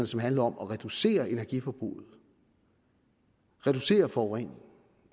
som handler om at reducere energiforbruget om at reducere forureningen